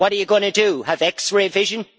What are you going to do have X ray vision?